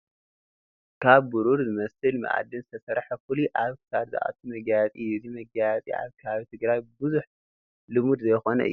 ካብ ብሩር ዝመስል መኣድን ዝተሰርሐ ፍሉይ ኣብ ክሳድ ዝኣቱ መጋየፂ እዩ፡፡ እዚ መጋየፂ ኣብ ከባቢ ትግራይ ብዙሕ ልሙድ ዘይኮነ እዩ፡፡